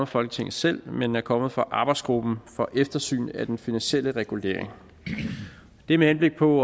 folketinget selv men er kommet fra arbejdsgruppen for eftersyn af den finansielle regulering det er med henblik på